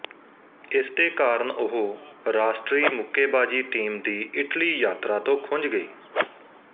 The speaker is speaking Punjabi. ਇਸ ਦੇ ਕਾਰਨ ਉਹ ਰਾਸ਼ਟਰੀ ਮੁੱਕੇਬਾਜ਼ੀ ਟੀਮ ਦੀ ਇਟਲੀ ਯਾਤਰਾ ਤੋਂ ਖੁੰਝ ਗਈ